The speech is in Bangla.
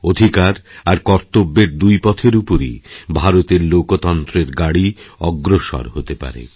অধিকার আর কর্তব্যের দুই পথের উপরই ভারতের লোকতন্ত্রের গাড়ি অগ্রসর হতেপারে